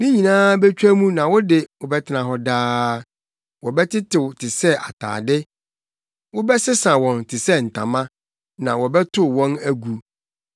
Ne nyinaa betwa mu na wo de, wobɛtena hɔ daa; wɔbɛtetew te sɛ atade. Wobɛsesa wɔn te sɛ ntama, na wɔbɛtow wɔn agu.